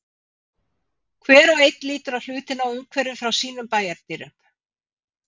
Hver og einn lítur á hlutina og umhverfið frá sínum bæjardyrum.